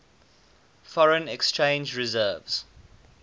foreign exchange reserves